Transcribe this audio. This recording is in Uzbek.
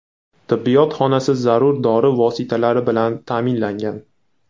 Tibbiyot xonasi zarur dori vositalari bilan ta’minlangan.